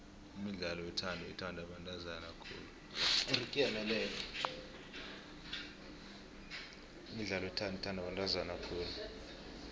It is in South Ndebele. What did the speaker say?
imidlalo yothando ithandwa bantazana khulu